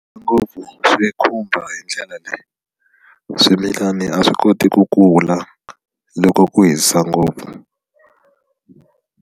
Ngopfu swi khumba hi ndlela leyi swimilani a swi koti ku kula loko ku hisa ngopfu.